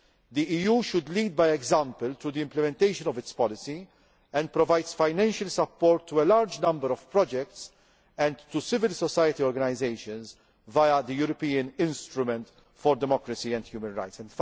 The EU should lead by example through the implementation of its policy, and it provides financial support to a large number of projects and to civil society organisations via the European Instrument for Democracy and Human Rights.